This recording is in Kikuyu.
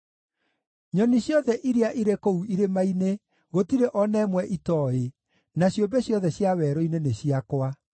Nyoni ciothe iria irĩ kũu irĩma-inĩ, gũtirĩ o na ĩmwe itooĩ, na ciũmbe ciothe cia werũ-inĩ nĩ ciakwa.